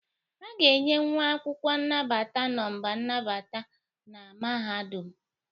A ga-enye nwa akwụkwọ nnabata nọmba nnabata na mahadum